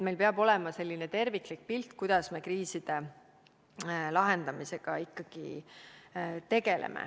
Meil peab ikkagi olema terviklik pilt, kuidas me kriise lahendame.